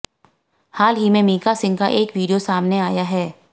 हाल ही में मीका सिंह का एक वीडियो सामने आया है